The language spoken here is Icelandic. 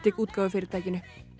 útgáfufyrirtækinu